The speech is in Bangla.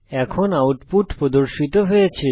এখন আউটপুট প্রদর্শিত হয়েছে